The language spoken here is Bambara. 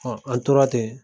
an tora ten